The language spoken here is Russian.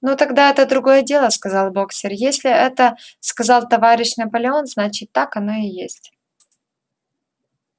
ну тогда это другое дело сказал боксёр если это сказал товарищ наполеон значит так оно и есть